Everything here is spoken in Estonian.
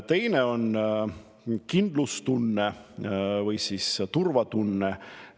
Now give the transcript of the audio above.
Teine on kindlustunne või siis turvatunne.